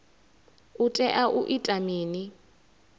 u tea u ita mini